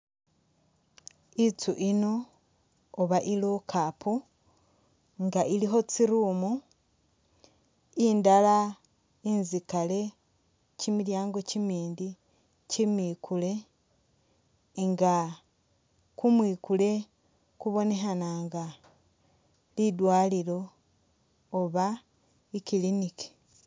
Itsi ino oba i lockup nga ilikho tsi room oba indala inzikale kyimilyango kyimindi kyimikule nga kumwikule kubonekha nga lidwalilo oba i clinic.